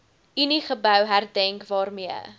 uniegebou herdenk waarmee